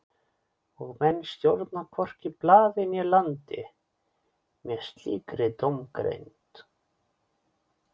Og menn stjórna hvorki blaði né landi með slíkri dómgreind.